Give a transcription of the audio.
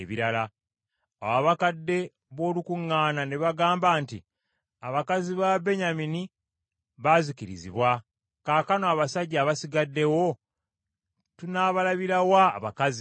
Awo abakadde b’olukuŋŋaana ne bagamba nti, “Abakazi b’Ababenyamini baazikirizibwa, kaakano abasajja abasigaddewo, tunabalabira wa abakazi?